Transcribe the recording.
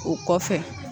O kɔfɛ